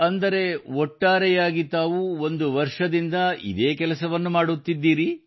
ಅಂದರೆ ಒಟ್ಟಾರೆಯಾಗಿ ತಾವು ಒಂದು ವರ್ಷದಿಂದ ಇದೇ ಕೆಲಸವನ್ನು ಮಾಡುತ್ತಿದ್ದೀರಿ